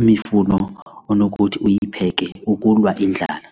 imifuno onokuthi uyipheke ukulwa indlala.